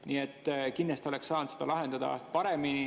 Nii et kindlasti oleks saanud seda lahendada paremini.